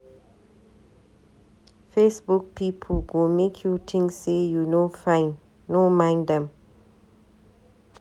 Facebook pipu go make you tink say you no fine, no mind dem.